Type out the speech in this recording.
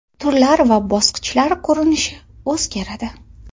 Turlar va bosqichlar ko‘rinishi o‘zgaradi.